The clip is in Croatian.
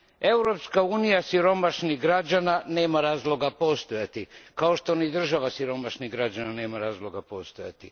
Europska unija siromašnih građana nema razloga postojati, kao što ni država siromašnih građana nema razloga postojati.